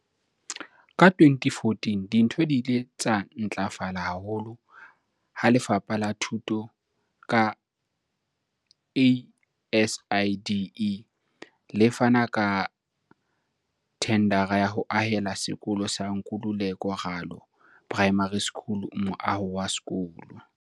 Ka 2014, dintho di ile tsa ntlafala haholo ha Lefapha la Thuto, ka ASIDI, le fana ka thendara ya ho ahela sekolo sa Nkululeko Ralo Primary School moaho wa sekolo.